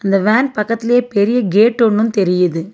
இந்த வேன் பக்கத்லியே பெரிய கேட்டொன்னுந் தெரியிது.